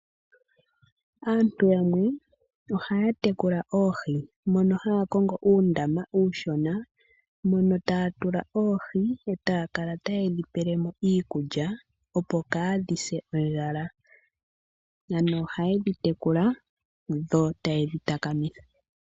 Aantu yamwe ohaa tekula oohi mono haakongo uundama uushona mono taa tula oohi etaakala tayedhi pelemo iikulya opo kaadhise ondjala ano ohayedhi tekula yo eta yedhi takamitha.